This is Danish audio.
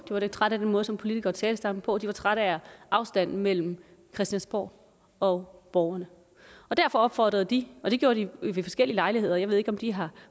var lidt trætte af den måde som politikere talte sammen på de var trætte af afstanden mellem christiansborg og borgerne derfor opfordrede de og det gjorde det ved forskellige lejligheder jeg ved ikke om de har